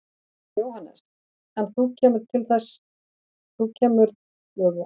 Jóhannes: En þú kemur til með að lifa af þessu í framtíðinni?